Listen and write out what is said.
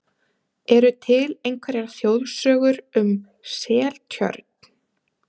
Eru til einhverjar þjóðsögur um Seltjörn?